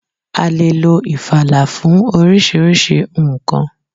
A lè lo ifala fún oríṣiríṣi nńkan.